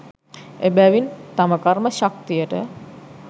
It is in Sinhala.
එබැවින් තම කර්ම ශක්තියට